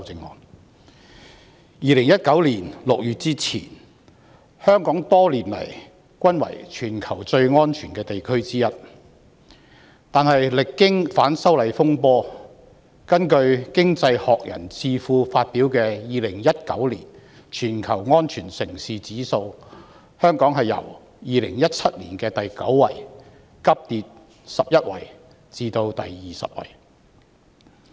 在2019年6月之前，香港多年來一直是全球最安全的地區之一，但歷經反修例風波，根據經濟學人智庫發表的2019年全球安全城市指數，香港由2017年的第九位急跌11位至第二十位。